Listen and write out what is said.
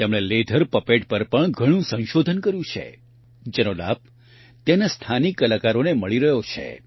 તેમણે leather puppet પર પણ ઘણું સંશોધન કર્યું છે જેનો લાભ ત્યાંના સ્થાનિક કલાકારોને મળી રહ્યો છે